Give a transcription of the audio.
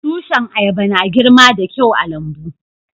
Tushin ayaba na girma da kyau a'lambu.